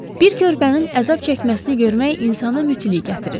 Bir körpənin əzab çəkməsini görmək insana mütilik gətirir.